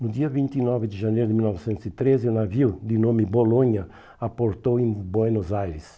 No dia vinte e nove de janeiro de mil novecentos e treze, o navio, de nome Bologna, aportou em Buenos Aires.